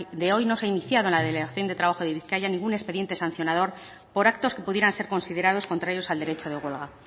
de hoy no se ha iniciado en la delegación de trabajo de bizkaia ningún expediente sancionador por actos que pudieran ser considerados contrarios al derecho de huelga